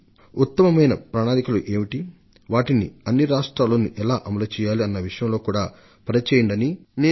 రాష్ట్రాలన్నింటా ఉత్తమమైన పద్ధతులను ఎలా ప్రవేశపెట్టాలో నీతి ఆయోగ్ కసరత్తు చేయాలంటూ వారికి నేను ఆదేశాలిచ్చాను